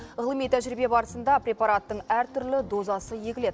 ғылыми тәжірибе барысында препараттың әртүрлі дозасы егіледі